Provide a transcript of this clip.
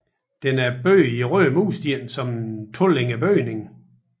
Den er bygget i røde mursten som en tolænget bygning